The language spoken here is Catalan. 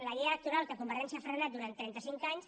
la llei electoral que convergència ha frenat durant trenta cinc anys